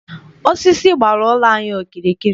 Osisi gbara ụlọ anyị okirikiri.